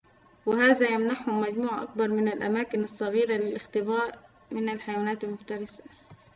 وهذا يمنحهم مجموعة أكبر من الأماكن الصغيرة للاختباء من الحيوانات المفترسة